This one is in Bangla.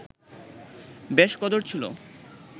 বেশ কদর ছিল